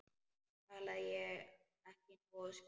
Talaði ég ekki nógu skýrt?